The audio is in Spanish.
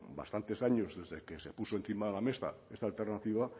bastantes años desde que se puso encima de la mesa esta alternativa